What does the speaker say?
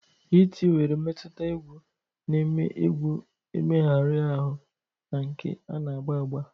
iti were mmetụta egwu na-eme egwu emehari ahu na nke ana ágbà ágbà.